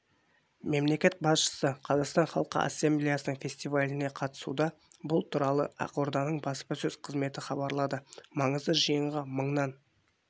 мемлекет басшысы қазақстан халқы ассамблеясының фестиваліне қатысуда бұл туралы ақорданың баспасөз қызметі хабарлады маңызды жиынға мыңнан